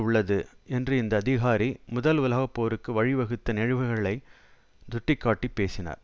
உள்ளது என்று இந்த அதிகாரி முதல் உலக போருக்கு வழிவகுத்த நிகழ்வுகளை சுட்டி காட்டி பேசினார்